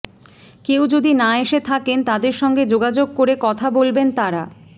কেউ যদি না এসে থাকেন তাঁদের সঙ্গে যোগাযোগ করে কথা বলবেন তাঁরা